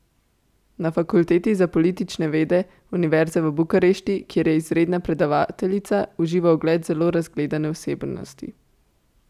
Na Fakulteti za politične vede Univerze v Bukarešti, kjer je izredna predavateljica, uživa ugled zelo razgledane osebnosti.